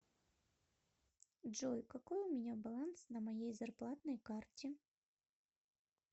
джой какой у меня баланс на моей зарплатной карте